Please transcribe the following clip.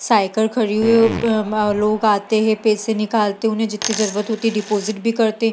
Cycle खड़ी हुई है लोग आते हैं पैसे निकलते हैं उन्हें जितना ज़रूरत है डिपाजिट करते हैं।